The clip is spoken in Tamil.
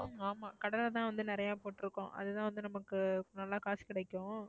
உம் ஆமாம். கடலை தான் வந்து நிறைய போட்டிருக்கோம். அது தான் நமக்கு நல்லா காசு கிடைக்கும்.